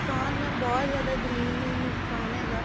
ਨੁਕਸ਼ਾਨ mam ਬਹੁਤ ਜਿਆਦਾ ਜ਼ਮੀਨ ਨੂੰ ਨੁਕਸ਼ਾਨ ਹੈਗਾ